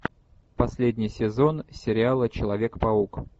последний сезон сериала человек паук